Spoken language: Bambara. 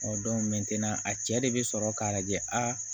a cɛ de bɛ sɔrɔ k'a lajɛ a